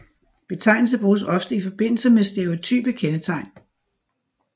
Betegnelse bruges ofte i forbindelse med stereotype kendetegn